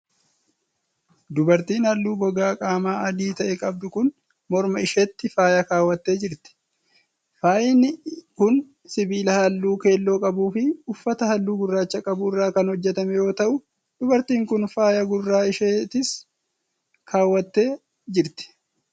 Dubartiin halluu gogaa qaamaa adii ta'e qabdu kun, morma isheetti faaya kaawwattee jirti. Faayini kun sibiila halluu keelloo qabuu fi uffata halluu gurraacha qabu irraa kan hojjatame yoo ta'u, dubartiin kun faaya gurra isheettis kaawwattee jirti.